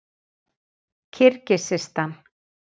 Kirgisistan